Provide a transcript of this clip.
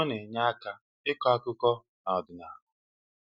Ọ na-enye aka ịkọ akụkọ na ọdịnala.